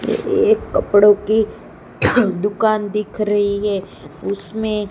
एक कपड़ों की दुकान दिख रही है उसमें--